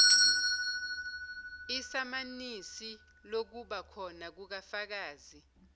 isamanisi lokubakhona kukafakazi